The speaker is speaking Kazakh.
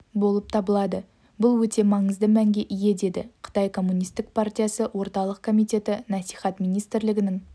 болып табылады бұл өте маңызды мәнге ие деді қытай коммунистік партиясы орталық комитеті насихат министрлігінің